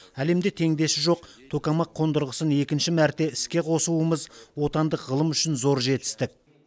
әлемде теңдесі жоқ токамак қондырғысын екінші мәрте іске қосуымыз отандық ғылым үшін зор жетістік